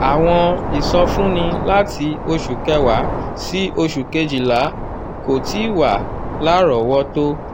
àwọn ìsọfúnni láti oṣù kewa sí osu kejila kò tíì wà lárọ̀ọ́wọ́tó.